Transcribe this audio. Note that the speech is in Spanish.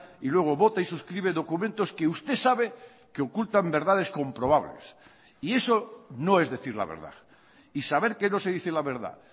y luego vota y suscribe documentos que usted sabe que ocultan verdades comprobables y eso no es decir la verdad y saber que no se dice la verdad